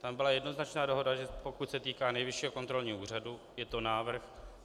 Tam byla jednoznačná dohoda, že pokud se týká Nejvyššího kontrolního úřadu, je to návrh.